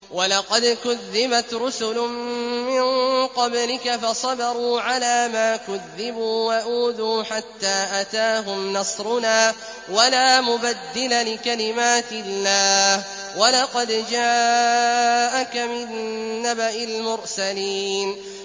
وَلَقَدْ كُذِّبَتْ رُسُلٌ مِّن قَبْلِكَ فَصَبَرُوا عَلَىٰ مَا كُذِّبُوا وَأُوذُوا حَتَّىٰ أَتَاهُمْ نَصْرُنَا ۚ وَلَا مُبَدِّلَ لِكَلِمَاتِ اللَّهِ ۚ وَلَقَدْ جَاءَكَ مِن نَّبَإِ الْمُرْسَلِينَ